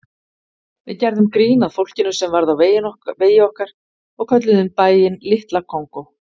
Við gerðum grín að fólkinu sem varð á vegi okkar og kölluðum bæinn Litla Kongó.